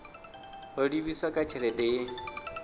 ho livhiswa kha tshelede ye